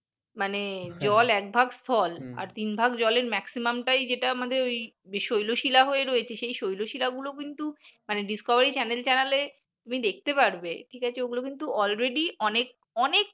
মানে জল একভাগ স্থল আর তিন ভাগ জলের maximum টাই যেটা আমাদের শৈলশীলা হয়ে রয়েছে এই শৈলশীলা গুলো কিন্তু মানে discovery channel এ তুমি দেখতে পারবে ঠিক আছে ওগুলো কিন্তু already অনেক অনেক